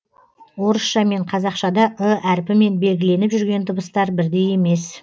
орысша мен қазақшада ы әрпімен белгіленіп жүрген дыбыстар бірдей емес